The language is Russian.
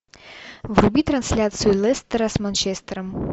вруби трансляцию лестера с манчестером